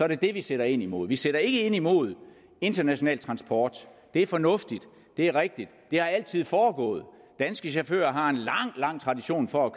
det det vi sætter ind imod vi sætter ikke ind imod international transport det er fornuftigt det er rigtigt det har altid foregået danske chauffører har en lang lang tradition for at